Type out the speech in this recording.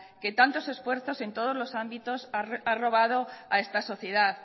que tantos esfuerzos en todos los ámbitos ha robado a esta sociedad